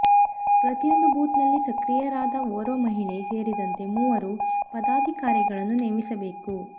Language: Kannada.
ಪ್ರತಿಯೊಂದು ಬೂತ್ನಲ್ಲಿ ಸಕ್ರಿಯರಾದ ಓರ್ವ ಮಹಿಳೆ ಸೇರಿದಂತೆ ಮೂವರು ಪದಾಧಿಕಾರಿಗಳನ್ನು ನೇಮಿಸಬೇಕು